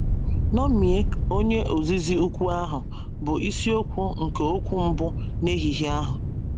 “ Ṅomie Onye Ozizi Ukwu Ahụ ” bụ isiokwu nke okwu mbụ n’ehihie ahụ.